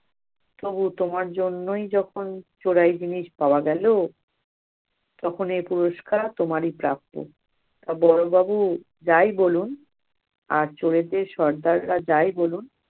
তবু তোমার জন্যই যখন চোরাই জিনিস পাওয়া গেল, তখন এ পুরস্কার তোমার ই প্রাপ্য। বড়বাবু যাই বলুন, আজ চোরেদের সর্দাররা যাই বলুন